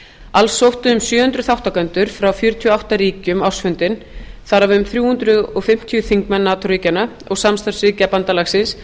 alls sóttu um sjö hundruð þátttakendur frá fjörutíu og átta ríkjum ársfundinn þar af um þrjú hundruð fimmtíu þingmenn nato ríkjanna og samstarfsríkja bandalagsins